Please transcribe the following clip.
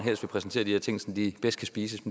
præsenterer ting så de kan spises